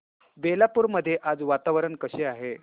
बेलापुर मध्ये आज वातावरण कसे आहे